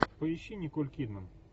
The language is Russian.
поищи николь кидман